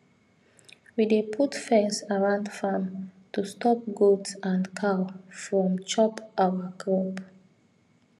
we dey put fence round farm to stop goat and cow from chop our crop